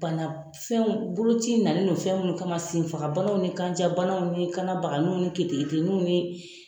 Banafɛnw boloci na ni nun fɛn minnu kama, sen fagabanaw, ni kanjan banaw ni kanna baganniw ni keteketeniw